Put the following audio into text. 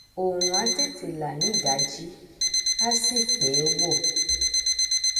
òòrùn á tètè là nídàájí á sì pẹ wọ